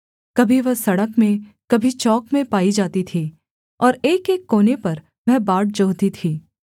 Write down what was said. कभी वह सड़क में कभी चौक में पाई जाती थी और एकएक कोने पर वह बाट जोहती थी